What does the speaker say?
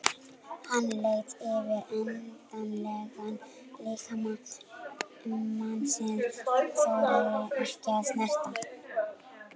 Hann laut yfir endilangan líkama mannsins, þorði ekki að snerta.